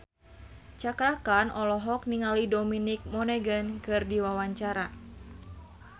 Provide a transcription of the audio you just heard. Cakra Khan olohok ningali Dominic Monaghan keur diwawancara